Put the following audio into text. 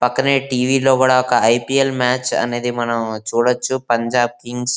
పక్కనే టీవీ లో ఒక ఐపీల్ మ్యాచ్ అనేది మనము చూడొచ్చు.పంజాబ్--